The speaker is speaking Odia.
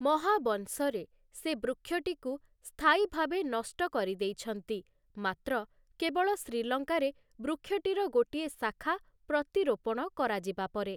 ମହାବଂଶ'ରେ, ସେ ବୃକ୍ଷଟିକୁ ସ୍ଥାୟୀ ଭାବେ ନଷ୍ଟ କରିଦେଇଛନ୍ତି, ମାତ୍ର କେବଳ ଶ୍ରୀଲଙ୍କାରେ ବୃକ୍ଷଟିର ଗୋଟିଏ ଶାଖା ପ୍ରତିରୋପଣ କରାଯିବା ପରେ ।